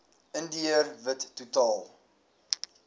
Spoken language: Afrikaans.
indiër wit totaal